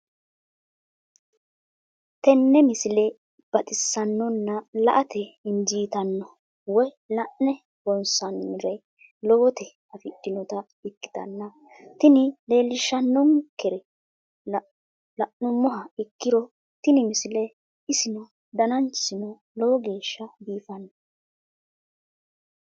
tenne misile baxisannonna la"ate injiitanno woy la'ne ronsannire lowote afidhinota ikkitanna tini leellishshannonkeri la'nummoha ikkiro tini misile isino dananchisino lowo geeshsha biifanno.